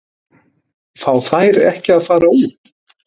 Fá þær ekki að fara út?